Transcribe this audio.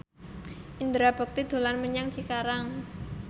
Indra Bekti dolan menyang Cikarang